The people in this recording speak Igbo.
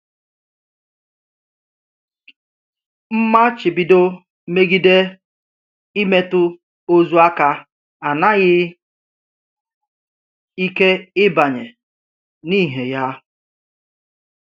M̀màchíbídò mé̩gíde ímètụ̀ òzù áká ànàghị̀ ike íbànye n’íhè ya.